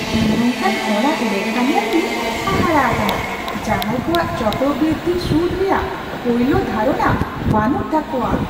ᱤᱧ ᱱᱚᱝᱠᱟᱱ ᱦᱚᱲᱟᱜ ᱞᱮᱠᱷᱟ ᱧᱮᱞᱛᱮᱧ ᱦᱟᱦᱟᱲᱟ ᱟᱠᱟᱱᱟ ᱡᱟᱦᱟᱸᱭ ᱠᱚᱣᱟᱜ ᱪᱚᱠᱨᱚᱼᱵᱨᱤᱫᱽᱫᱷᱤ ᱥᱩᱫᱽ ᱨᱮᱭᱟᱜ ᱯᱳᱭᱞᱳ ᱫᱷᱟᱨᱚᱱᱟ ᱵᱟᱹᱱᱩᱜ ᱛᱟᱠᱚᱣᱟ ᱾